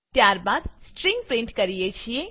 ત્યારબાદ string print કરીએ છીએ